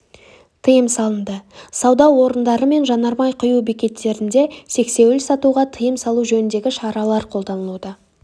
тыйым салынды сауда орындары мен жанармай құю бекеттерінде сексеуіл сатуға тыйым салу жөніндегі шаралар қолданылуда